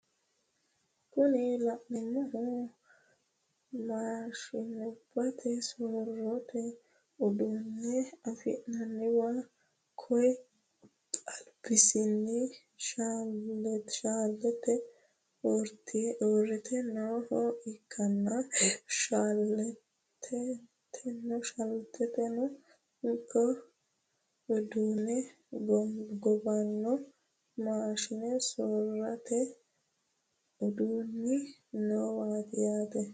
Kuni la'neemohu maashinubbate soorrote uduunne afi'nanniwa koye albasiinni shaleete urrite nooha ikkanna shaleeteteno ikko uduune gobanno maashine sorrote uduunni noowaati yaate.